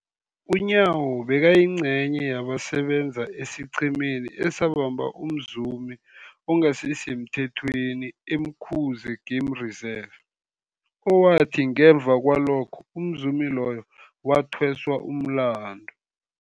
UNyawo bekayingcenye yabasebenza esiqhemeni esabamba umzumi ongasisemthethweni e-Umkhuze Game Reserve, owathi ngemva kwalokho umzumi loyo wathweswa umlandu.